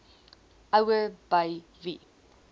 ouer by wie